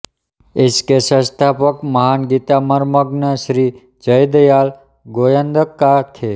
इसके संस्थापक महान गीतामर्मज्ञ श्री जयदयाल गोयन्दका थे